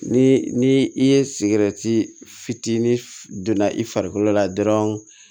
Ni ni i ye sigɛrɛti fitinin donna i farikolo la dɔrɔn